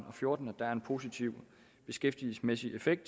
og fjorten at der er en positiv beskæftigelsesmæssig effekt